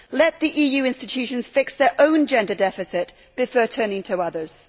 Let the EU institutions fix their own gender deficit before turning to others.